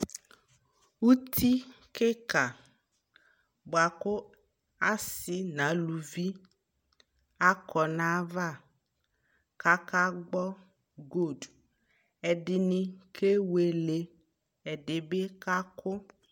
Uti kika bua ku asi na luvi akɔ na ya va kaka gbɔ goldƐdini kɛweleƐdi bi ka ku